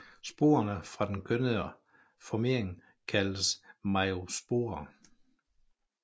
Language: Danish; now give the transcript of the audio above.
Sporerne fra den kønnede formering kaldes meiosporer